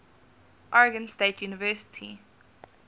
oregon state university